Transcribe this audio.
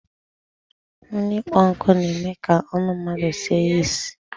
Onu ikpo nku n'eme ka onu mmadu sie isi